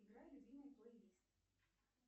играй любимый плей лист